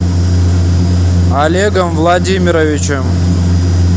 олегом владимировичем